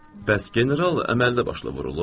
Bəs general əməlli başlı vurulub?